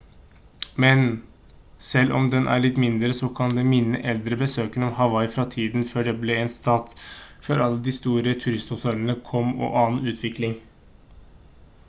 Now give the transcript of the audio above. men selv om den er litt mindre så kan den minne eldre besøkende om hawaii fra tiden før det ble en stat før alle de store turisthotellene kom og annen utvikling